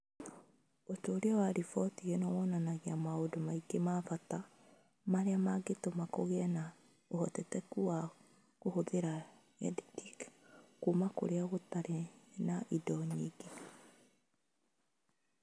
Ũtuĩria wa riboti ĩno wonanagia maũndũ maingĩ ma bata marĩa mangĩtũma kũgĩe na ũhotekeku wa kũhũthĩra EdTech kũndũ kũrĩa gũtarĩ na indo nyingĩ.